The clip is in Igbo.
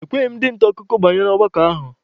E kweghị ndị nta akụkọ banye n'ọgbakọ ahụ.